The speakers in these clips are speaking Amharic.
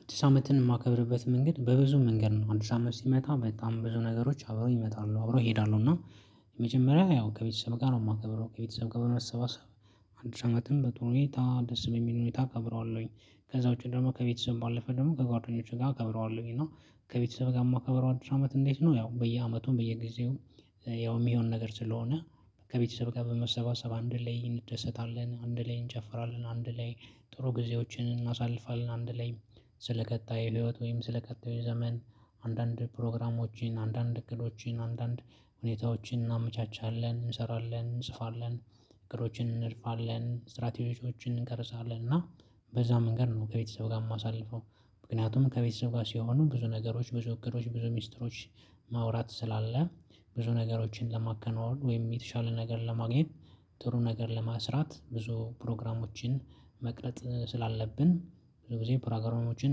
አዲስ አመትን የማከብርበት መንገድ በብዙ መንገድ ነው አዲስ አመት ሲመጣ በጣም ብዙ ነገሮች አብረው ይመጣሉ አብረው እሄዳለሁ። እና የመጀመሪያ ያው ከቤተሰብ ጋር ነው የማከብረው ከቤተሰብ ጋር ነው የሰባሰብነው። አዲሱ ዓመትም ደስ በሚል ሁኔታ እከብረዋለሁኝ። ከዛ ውጪ ደግሞ ከቤተሰብ ባለፈ ደግሞ ከጓደኞቹ ጋር እከብረዋለሁኝ። እና ከቤተሰብ ጋር የማከበረው አዲሱ አመት እንዴት ነው? ያው በየአመቱም በየጊዜውም ያው የሚሆን ነገር ስለሆነ። ከቤተሰብ ጋር በመሰባሰብ አንድ ላይ እንደሰታለን አንድ ላይ እንጨፍራለን አንድ ላይ ጥሩ ጊዜዎችን እናሳልፋለን። አንድ ላይ ስለ ቀጣይ ህይወት ወይም ስለ ቀጣይ ዘመን አንዳንድ ፕሮግራሞችን አንዳንድ እቅዶችን አንዳንድ ሁኔታዎችን እናመቻቻለን እንሰራለን እንጽፋለን። እቅዶችን እንልፋለን ስትራቴጂዎችን እንከልሳለን እና በዛ መንገድ ነው ከቤተሰብ ጋር የማሳልፈው። ምክንያቱም ከቤተሰብ ጋር ሲሆኑ ብዙ ነገሮች ብዙ እቅዶች ብዙ ሚስጥሮች። ማውራት ስላለ። ብዙ ነገሮችን ለማከናወን ወይም የተሻለ ነገር ለማግኘት። ጥሩ ነገር ለመስራት ብዙ ፕሮግራሞችን መቅረጥ ስላለብን። ብዙ ጊዜ ፕሮግራሞችን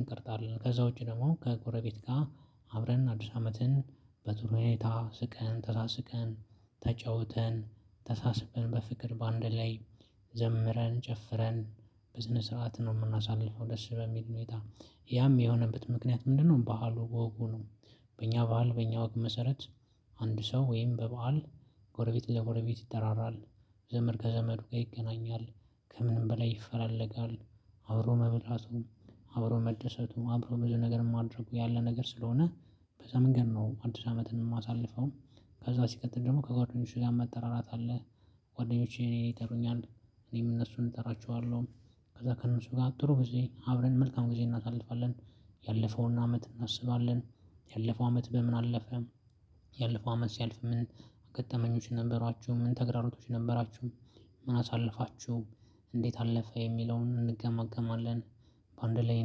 እንቀርጣለን። ከዛ ውጪ ደግሞ ከጎረቤት ጋር አብረን አዲስ አመትን በዙሪያዬ ታስቀን ተሳስቀን ተጫውተን ተሳስበን በፍቅር በአንድ ላይ ዘምረን ጨፍረን በስነ ስርዓት ነው የምናሳልፈው። ደስ በሚል ሁኔታ ያም የሆነበት ምክንያት ምንድነው? ባህሉ በወጉ ነው። በእኛ በዓል በእኛ ወግ መሰረት አንድ ሰው ወይም በበዓል ጎረቤት ለጎረቤት ይጠራራል። ዘመድ ከዘመዱ ጋር ይገናኛል። ከምንም በላይ ይፈላለጋል። አብሮ መብላቱም አብሮ መደሰቱም አብሮ በዚህ ነገር ማድረጉ ያለ ነገር ስለሆነ። በዛ መንገድ ነው አዲስ አመትን የማሳልፈውም። ከዛ ሲቀጥል ደግሞ ከጓደኞቹ ጋር መጠራራት አለ። ጓደኞቼ እኔ ይጠሩኛል። እኔም እነሱን እጠራቸዋለሁ። ከዛ ከእነሱ ጋር ጥሩ ጊዜ አብረን መልካም ጊዜ እናሳልፋለን። ያለፈውን አመት እናስባለን። ያለፈው አመት በምን አለፈ? ያለፈው አመት ሲያልፍ ምን ገጠመኞች ነበሯችሁ ምን ተግራሮቶች ነበራችሁ? ምን አሳለፋችሁ? እንዴት አለፈ የሚለውን እንገማገማለን። በአንድ ላይ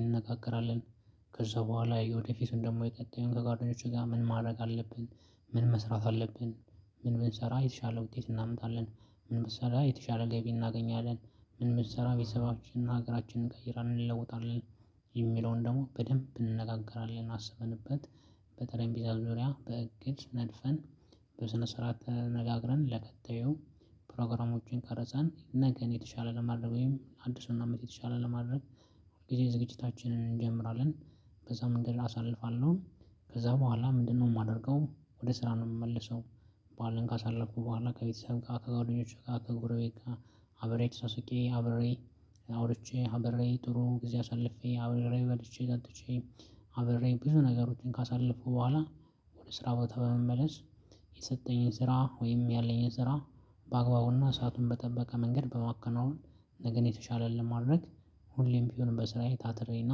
እንነጋገራለን። ከዛ በኋላ ወደፊቱን ደግሞ የቀጣኙን ከጓደኞቹ ጋር ምን ማድረግ አለብን? ምን መስራት አለብን? ምን ብንሰራ የተሻለ ውጤት እናመጣለን። ምን ብንሰራ የተሻለ ገቢ እናገኛለን። ምን ብንሰራ ቤተሰባችንን ሀገራችንን እንቀይራል ይለውጣል። የሚለውን ደግሞ በደንብ እንነጋገራለን አስበንበት። በጠረንጰዛ ዙሪያ በእቅድ ነድፈን። በስነ ስርዓት ተነጋግረን ለቀጣዩ። ፕሮግራሞችን ቀረጻን ነገ የተሻለ ለማድረግ ወይም አዲሱን አመት የተሻለ ለማድረግ። ሁል ጊዜ ዝግጅታችንን እንጀምራለን። በዛም እንግዲህ አሳልፋለሁ። ከዛ በኋላ ምንድነው የማደርገው? ወደ ስራ ነው የምመለሰው። በዓልን ካሳለፍኩ በኋላ ከቤተሰብ ጋር ከጓደኞቼ ጋር ከጉረቤት ጋር አብሬ ተሳስቄ አበሬ አውርቼ አብሬ ጥሩ ጊዜ አሳልፌ አብሬ በልቼ ጠጥቼ አብሬ ብዙ ነገሮችን ካሳለፉ በኋላ። ወደ ስራ ቦታ በመመለስ። የሰጠኝን ስራ ወይም ያለኝን ስራ በአግባቡና ሰአቱን በጠበቀ መንገድ በማከናወን። ነገን የተሻለ ለማድረግ። ሁሌም ቢሆን በስራዬ ታትሬና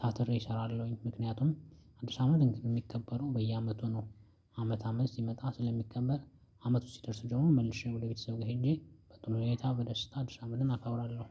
ታትሬ እሰራለሁኝ። ምክንያቱም አዲስ አመት እንግዲህ የሚከበረው በየአመቱ ነው። አመት አመት ሲመጣ ስለሚከበር አመት ውስጥ ሲደርስ ጀምሮ መልሼ ወደ ቤተሰብ ጋር ሄጄ በጥሩ ሁኔታ በደስታ አዲስ አመትን አከብራለሁ።